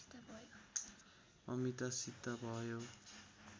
अमितासित भयो